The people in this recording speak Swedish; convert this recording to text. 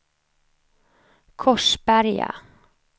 Korsberga